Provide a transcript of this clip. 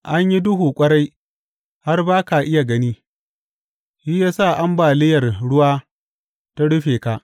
An yi duhu ƙwarai, har ba ka iya gani, shi ya sa ambaliyar ruwa ta rufe ka.